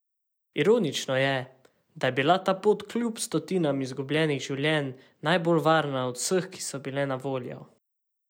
Ironično je, da je bila ta pot kljub stotinam izgubljenih življenj najbolj varna od vseh, ki so bile na voljo.